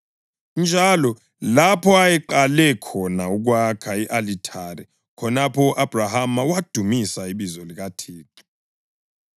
njalo lapho ayeqale khona ukwakha i-alithari. Khonapho u-Abhrama wadumisa ibizo likaThixo.